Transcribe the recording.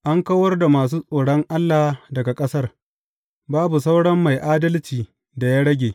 An kawar da masu tsoron Allah daga ƙasar; babu sauran mai adalcin da ya rage.